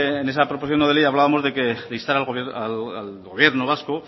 en esa proposición no de ley hablábamos de instar al gobierno vasco